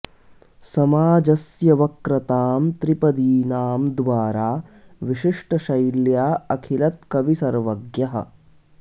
समाजस्य वक्रतां त्रिपदीनां द्वारा विशिष्टशैल्या अलिखत् कविः सर्वज्ञः